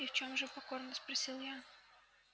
и в чём же покорно спросил я